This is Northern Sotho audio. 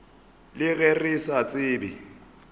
le ge re sa tsebe